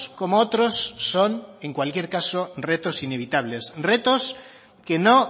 como otros son en cualquier caso retos inevitables retos que no